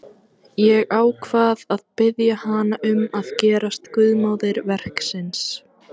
Ég ákvað að biðja hana um að gerast guðmóðir verksins.